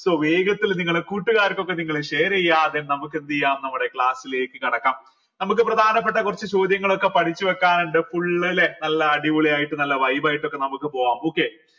so വേഗത്തില് നിങ്ങളെ കൂട്ടുകാർക്കൊക്കെ നിങ്ങൾ share ചെയ്യുക then നമുക്കെന്തെയ്യാം നമ്മുടെ class ലേക്ക് കടക്കാം നമുക്ക് പ്രധാനപ്പെട്ട കുറച്ച് ചോദ്യങ്ങളൊക്കെ പഠിച്ചു വെക്കാനിണ്ട് full ല്ലെ നല്ല അടിപൊളിയായിട്ട് നല്ല vibe ആയിട്ടൊക്കെ നമുക്ക് പോവാം okay